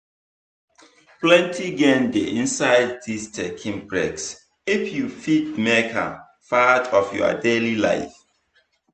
plenty gain dey inside this taking breaks if you fit make am part of your daily life.